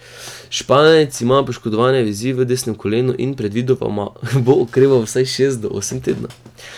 Španec ima poškodovane vezi v desnem kolenu in predvidoma bo okreval vsaj šest do osem tednov.